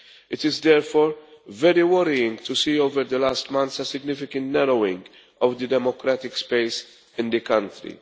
It is therefore very worrying to see over the last months a significant narrowing of the democratic space in the country.